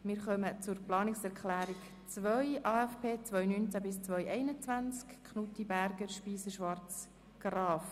Wir kommen zu Planungserklärung 2 der Grossrätinnen und Grossräte Knutti, Berger, Speiser, Schwarz und Graf.